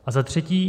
A za třetí.